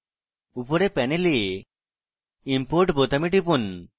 উপরের panel import বোতামে টিপুন